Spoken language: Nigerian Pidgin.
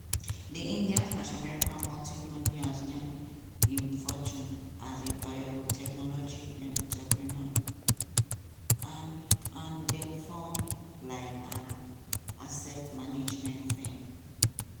di indian-american multimillionaire earn im fortune as a biotechnology entrepreneur and and den found um an asset management firm.